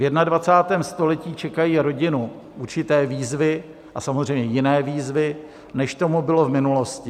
V 21. století čekají rodinu určité výzvy a samozřejmě jiné výzvy, než tomu bylo v minulosti.